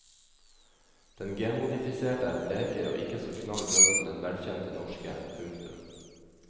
Den genmodifiserte er blekere og ikke så knall rød som den velkjente norske. punktum